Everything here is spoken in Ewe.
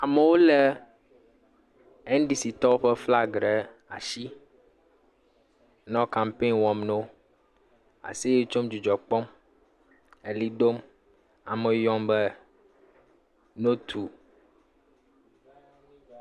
Amewo lé NDCtɔwo ƒe flagi ɖe asi nɔ kampeni wɔm na wo, aseye tsom, dzidzɔ kpɔm, eʋli dom, amewo yɔm be ne wotu.